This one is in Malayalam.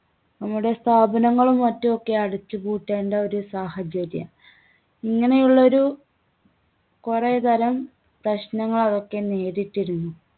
നമ്മുടെ സ്ഥാപനങ്ങളും മറ്റും ഒക്കെ അടച്ചുപൂട്ടേണ്ട ഒരു സാഹചര്യം. ഇങ്ങനെയുള്ളൊരു കുറേതരം പ്രശ്നങ്ങളൊക്കെ നേരിട്ടിരുന്നു.